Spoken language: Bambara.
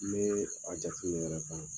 Me a jate minɛ yɛrɛ fana.